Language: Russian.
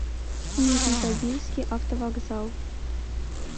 нижнетагильский автовокзал